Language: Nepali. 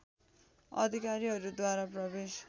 अधिकारीहरू द्वारा प्रवेश